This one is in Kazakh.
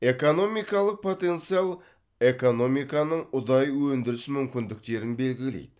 экономикалық потенциал экономиканың ұдайы өндіріс мүмкіндіктерін белгілейді